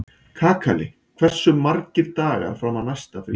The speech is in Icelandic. Kakali, hversu margir dagar fram að næsta fríi?